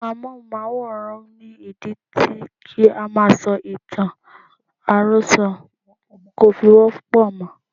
Èrọ amóhùnmáwòrán ni ìdí tí kí á máa sọ ìtàn àròsọ kò fi wọ́pọ̀ mọ́.